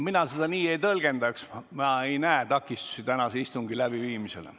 Mina seda nii ei tõlgendaks, ma ei näe takistusi tänase istungi läbiviimiseks.